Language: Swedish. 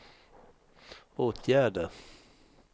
åtgärder